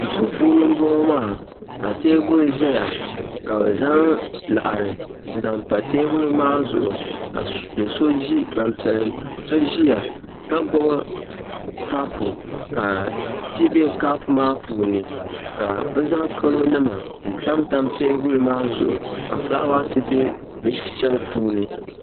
Duu puuni n boŋo maa ka teebuli ʒɛya ka bi zaŋ laɣari n zaŋ pa teebuli maa zuɣu ka gbanpiɛli so ʒiya ka gbubi kapu ka ti bɛ kapu maa puuni ka bi zaŋ kalo nima n tamtam teebuli maa zuɣu ka fulaawaasi bɛ di shɛli puuni